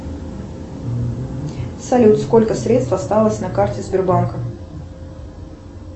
салют сколько средств осталось на карте сбербанка